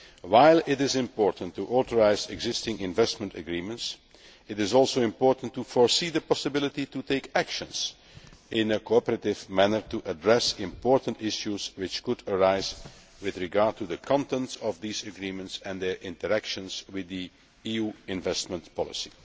While it is important to authorise existing investment agreements, it is also important to foresee the possibility of taking action in a cooperative manner to address important issues that could arise with regard to the content of the agreements and their interaction with EU investment policy.